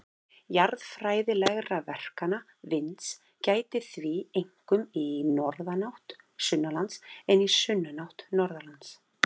Jarðfræðilegra verkana vinds gætir því einkum í norðanátt sunnanlands en í sunnanátt norðanlands.